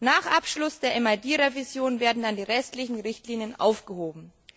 Nach Abschluss der MID Revision werden dann die restlichen Richtlinien aufgehoben.